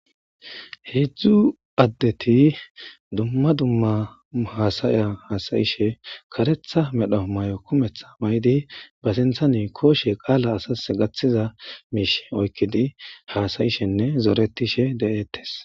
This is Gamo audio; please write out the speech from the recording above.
Hezu adeti dumma dumma hasaya hasayishe karetha mero mayo kumetha mayidi basinthan koshe woyko qalq keziza misha oyqidi hasayishne zoretishe deyettes.